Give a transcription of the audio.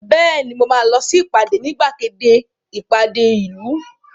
Bẹ́ẹ̀ni mo máa lọ sí ìpàdé ní gbàgede ìpàdé ìlú